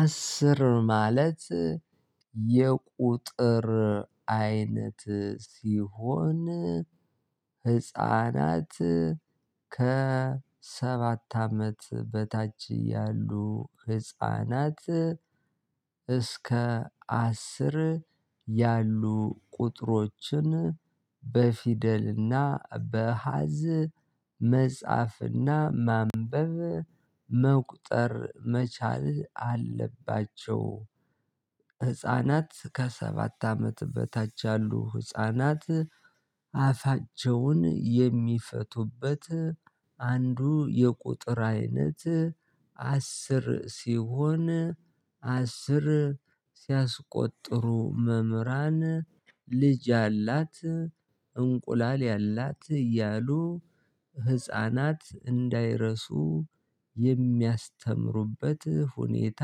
አስር ማለት የቁጥር አይነት ሲሆን ህፃናት ከሰባት አመት በታች ያሉ ህፃናት እስከ አስር ያሉ ቁጥሮችን በፊደልና በአሃዝ መጽሐፍና ማንበብ መቁጠር መቻል አለባቸው። ህፃናት ከሰባት አመት በታች ያሉ ህፃናት አፋቸውን የሚፈቱበት አንዱ የቁጥር አይነት አስር ሲሆን አስር ሲያስቆጥሩ መምህራን ልጅ ያላት እንቁላል ያላት እያሉ ህፃናት እንዳይረሱ የሚያስተምሩበት ሁኔታ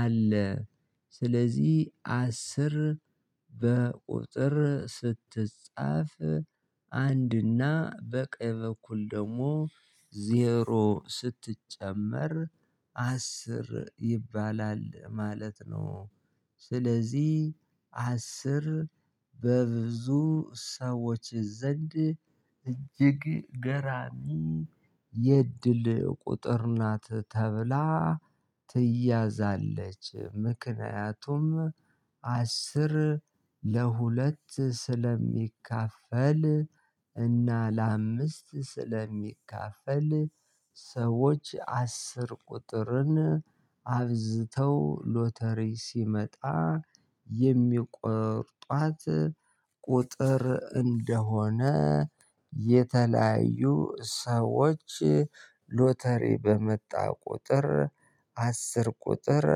አለ። ስለዚህ አስር በቁጥር ስትጻፍ አንድና በቀኝ በኩል ደግሞ ዜሮ ስትጨመር አስር ይባላል ማለት ነው። ስለዚህ አስር በብዙ ሰዎች ዘንድ እጅግ ገራሚ የእድል ቁጥር ናት ተብላ ትያዛለች። ምክንያቱም አስር ለሁለት ስለሚካፈል እና ለአምስት ስለሚካፈል። ሰዎች አስር ቁጥርን አብዝተው ሎተሪ ሲመጣ የሚቆርጧት ቁጥር እንደሆነ የተለያዩ ሰዎች ሎተሪ በመጣ ቁጥር አስር ቁጥር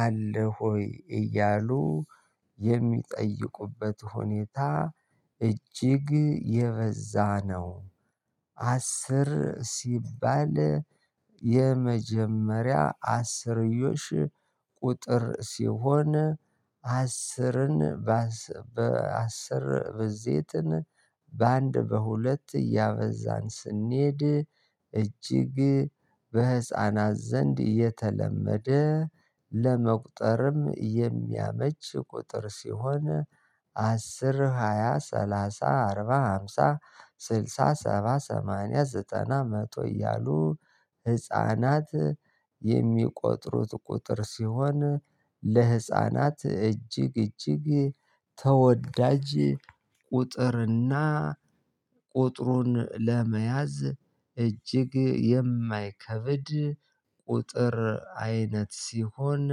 አለህ ወይ እያሉ የሚጠይቁበት ሁኔታ እጅግ የበዛ ነው። አስር ሲባል የመጀመሪያ አስርዮሽ ቁጥር ሲሆን አስርን በአስር ብዜትን በአንድ በሁለት እያበዛን ስንሄድ እጅግ በህፃናት ዘንድ የተለመደ ለመቁጠርም የሚያመች ቁጥር ሲሆን። አስር ሃያ ሰላሳ አርባ ሃምሳ ስልሳ ሰባ ሰማንያ ዘጠና መቶ እያሉ ህፃናት የሚቆጥሩት ቁጥር ሲሆን። ለህፃናት እጅግ እጅግ ተወዳጅ ቁጥርና ቁጥሩን ለመያዝ እጅግ የማይከብድ ቁጥር አይነት ሲሆን።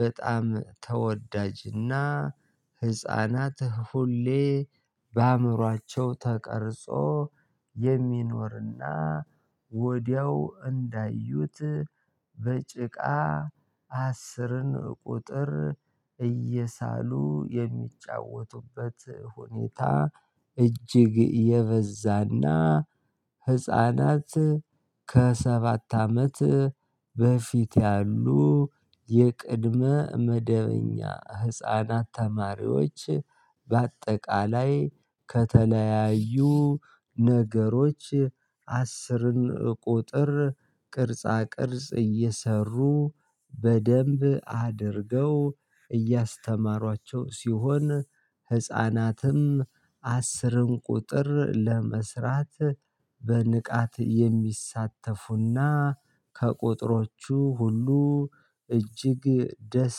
በጣም ተወዳጅና ህፃናት ሁሌ በአእምሮአቸው ተቀርጾ የሚኖርና ወዲያው እንዳዩት በጭቃ አስርን ቁጥር እየሳሉ የሚጫወቱበት ሁኔታ እጅግ የበዛና ህፃናት ከሰባት አመት በፊት ያሉ የቅድመ መደበኛ ህፃናት ተማሪዎች በአጠቃላይ ከተለያዩ ነገሮች አስርን ቁጥር ቅርጻ ቅርጽ እየሰሩ በደንብ አድርገው እያስተማሯቸው ሲሆን። ህፃናትም አስርን ቁጥር ለመስራት በንቃት የሚሳተፉና ከቁጥሮቹ ሁሉ እጅግ ደስ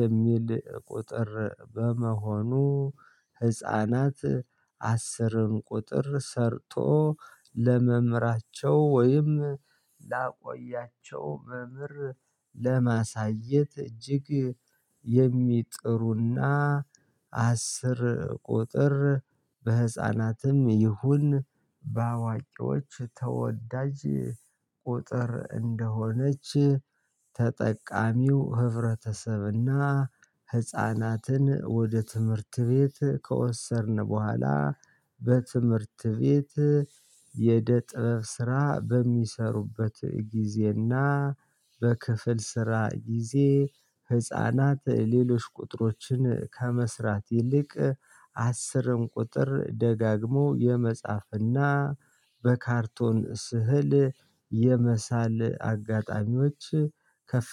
የሚል ቁጥር በመሆኑ። ህፃናት አስርን ቁጥር ሰርቶ ለመምራቸው ወይም በብር ለማሳየት እጅግ የሚጥሩና አስር ቁጥር በህፃናትም ይሁን በአዋቂዎች ተወዳጅ ቁጥር እንደሆነች። ተጠቃሚው ህብረተሰብና ህፃናትን ወደ ትምህርት ቤት ከወሰድን በኋላ በትምህርት ቤት የእደ ጥበብ ስራ በሚሰሩበት ጊዜና በክፍል ስራ ጊዜ ህፃናት ሌሎች ቁጥሮችን ከመስራት ይልቅ አስርን ቁጥር ደጋግሞ የመጻፍና በካርቶን ስህል የመሳል አጋጣሚዎች ከፍ